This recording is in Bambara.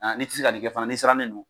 N'i tɛ se ka nin kɛ fana n'i siran ne don,